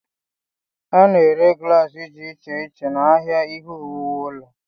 A na-ere glaasị dị iche iche n'ahịa ihe owuwu ụlọ.